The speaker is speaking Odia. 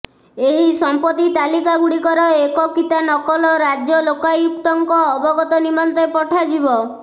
ଏହି ସମ୍ପତ୍ତି ତାଲିକାଗୁଡ଼ିକର ଏକକିତା ନକଲ ରାଜ୍ୟ ଲୋକାୟୁକ୍ତଙ୍କ ଅବଗତ ନିମନ୍ତେ ପଠାଯିବ